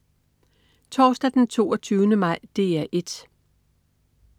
Torsdag den 22. maj - DR 1: